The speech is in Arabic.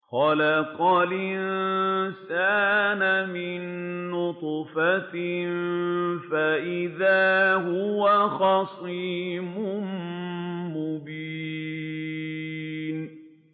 خَلَقَ الْإِنسَانَ مِن نُّطْفَةٍ فَإِذَا هُوَ خَصِيمٌ مُّبِينٌ